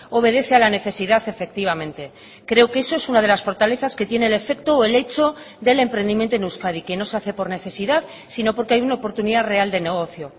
obedece a la necesidad efectivamente creo que eso es una de las fortalezas que tiene el efecto o el hecho del emprendimiento en euskadi que no se hace por necesidad sino porque hay una oportunidad real de negocio